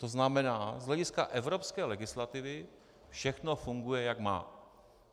To znamená z hlediska evropské legislativy - všechno funguje, jak má.